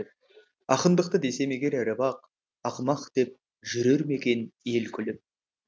ақындықты десем егер ірі бақ ақымақ деп жүрер ме екен ел күліп